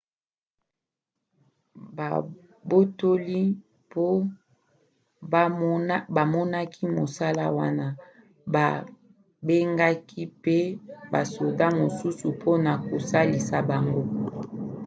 babotoli mpo bamonaki mosala wana babengaki pe basoda mosusu mpona kosalisa bango